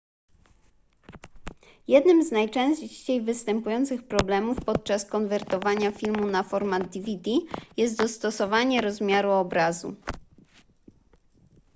jednym z najczęściej występujących problemów podczas konwertowania filmu na format dvd jest dostosowanie rozmiaru obrazu